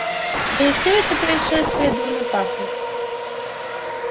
да и все это происшествие дурно пахнет